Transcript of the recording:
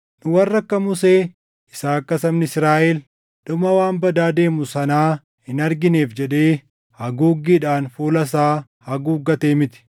Nu warra akka Musee isa akka sabni Israaʼel dhuma waan badaa deemu sanaa hin argineef jedhee haguuggiidhaan fuula isaa haguuggatee miti.